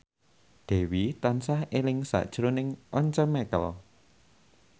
Dewi tansah eling sakjroning Once Mekel